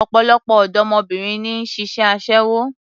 Ọ̀pọ̀lọpọ̀ ọ̀dọ́mọbìnrin ni ń ṣiṣẹ́ aṣẹ́wó